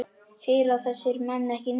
Heyra þessir menn ekki neitt?